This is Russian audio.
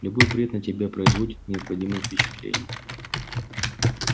любой бред на тебя производит неизгладимое впечатление